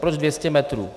Proč 200 metrů?